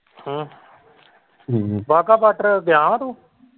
ਹਮ Wagah border ਗਿਆ ਹੀ ਤੂੰ।